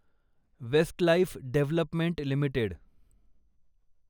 Westlife development limited